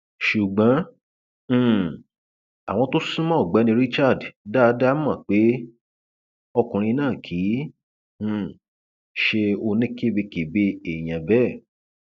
ṣùgbọn um àwọn tó sún mọ ọgbẹni richard dáadáa mọ pé ọkùnrin náà kì í um ṣe oníkebèkebẹ èèyàn bẹẹ